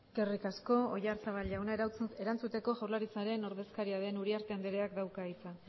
eskerrik asko oyarzabal jauna erantzuteko jaurlaritzaren ordezkaria den uriarte andreak dauka hitza